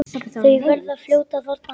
Þau verða fljót að þorna.